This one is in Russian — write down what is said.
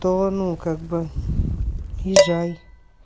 то ну как бы езжай